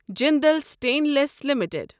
Jindal stainless limited